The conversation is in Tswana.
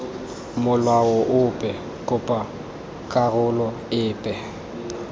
molao ope kopa karolo epe